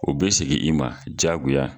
O bɛ segin i ma jagoya.